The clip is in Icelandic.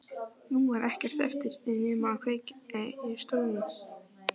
Nú var ekkert eftir nema að kveikja í stólnum.